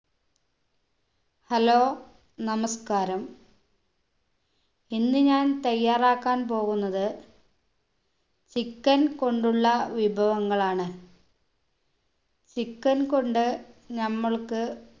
hello നമസ്ക്കാരം ഇന്ന് ഞാൻ തയ്യാറാക്കാൻ പോകുന്നത് chicken കൊണ്ടുള്ള വിഭവങ്ങളാണ് chicken കൊണ്ട് നമ്മൾക്ക്